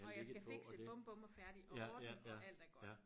Og jeg skal fikse bum bum og færdig og ordne og alt er godt